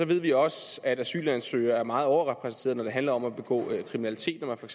vi også at asylansøgere er meget overrepræsenteret når det handler om at begå kriminalitet når man for